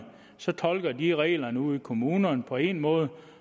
så tolker de reglerne ude i kommunerne på en måde